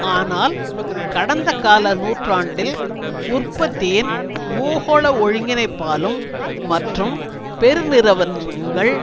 ஆனால் கடந்த கால நூற்றாண்டில் உற்பத்தியின் பூகோள ஒருங்கினைப்பாலும் மற்றும் பெருநிறுவனங்கள்